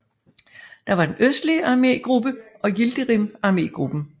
Der var den østlige armégruppe og Yildirim armégruppen